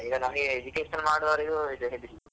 ಈಗ ನಮ್ಗೆ education ಮಾಡ್ವವ್ರಿಗೂ ಇದು ಹೆದ್ರಿಕೆ.